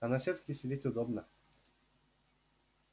а на сетке сидеть удобно